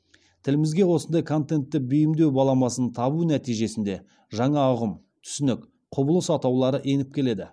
тілімізге осындай контентті бейімдеу баламасын табу нәтижесінде жаңа ұғым түсінік құбылыс атаулары еніп келеді